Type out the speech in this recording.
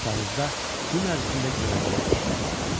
Kağızda gün ərzində görəcəyi işlər yazılmışdı.